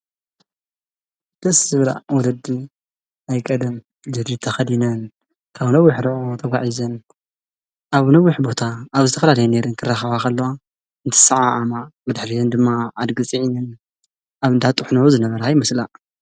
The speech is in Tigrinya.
በስ ዝብራ ወደዲ ኣይቀድም ዘድተኸዲነን ካብ ነዊኅ ርዑ ተጐዒዘን ኣብ ነዊኅ ቦታ ኣብ ዝተኽላድ ይነይር እንክራኸዋኸል እንቲሠዓዓ ዓማ መድኅሊየን ድማ ኣድግጺዕንን ኣብ ንዳጥሕነዑ ዝነበራ ኣይምስላእ።